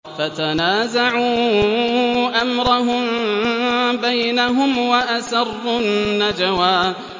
فَتَنَازَعُوا أَمْرَهُم بَيْنَهُمْ وَأَسَرُّوا النَّجْوَىٰ